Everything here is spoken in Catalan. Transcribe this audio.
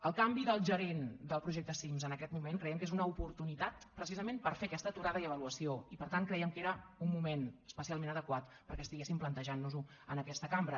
el canvi del gerent del projecte cims en aquest moment creiem que és una oportunitat precisament per fer aquesta aturada i avaluació i per tant crèiem que era un moment especialment adequat perquè estiguéssim plantejant nos ho en aquesta cambra